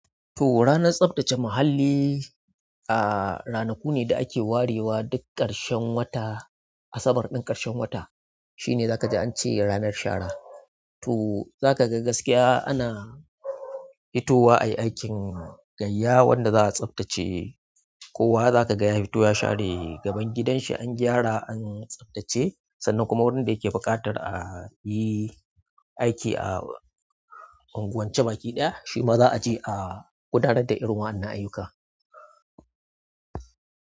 To ranar tsaftace muhalli, a ranaku ne da ake warewa duk ƙarshen wata, Asabar ɗin ƙarshen wata shine za ka ji an ce ranar shara. To za ka ga gaskiya ana fitowa ayi aikin gaiya wanda za a tsaftace. Kowa za ka ga ya fito ya share gaban gidan shi an gyara an tsaftace, sannan kuma wanda yake buƙatar a yi aiki a unguwance baki ɗaya, shi ma za a je a gudanar da irin wa'annan ayyuka.